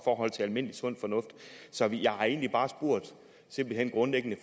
forhold til almindelig sund fornuft så jeg har egentlig bare grundlæggende